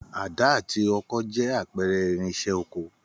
Àdá àti ọkọ jẹ́ àpẹrẹ irinsẹ́ oko